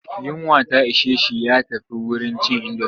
Yunwa ta ishe shi ya tafi wurin cin indomi.